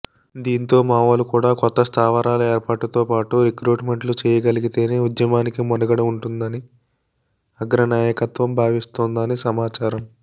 దీంతో మావోలు కూడా కొత్త స్థావరాల ఏర్పాటుతో పాటు రిక్రూట్మెంట్లు చేయగలిగితేనే ఉద్యమానికి మనుగడ ఉంటుందని అగ్రనాయకత్వం భావిస్తోందని సమాచారం